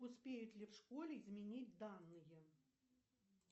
успеют ли в школе изменить данные